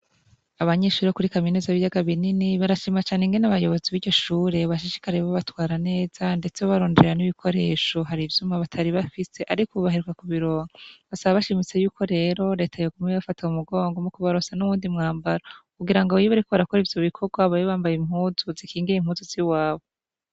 Abanyeshuri bo kuri kaminuza b'ibiyaga binini barashima cane ingene abayobozi b'iryoshure bashishikare babatwara neza ndetse barondera n'ibikoresho hari ivyuma batari bafise arik’ubu baheruka kubironga ,basaba bashimise yuko rero leta yoguma ibafata mumugongo mukunaronsa n'uwundi mwambaro kugira ngo iyobariko barakora ivyo bikorwa babe bambaye impuzu zikingir’ impunzu ziwabo